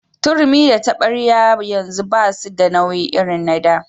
Turmi da taɓaryar yanzu basu da nauyi irin na da.